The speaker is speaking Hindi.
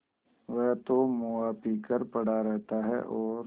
वह तो मुआ पी कर पड़ा रहता है और